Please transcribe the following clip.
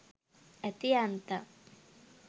ඇති යන්තම්!